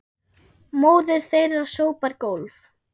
Móðir þeirra sópar gólf